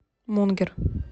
мунгер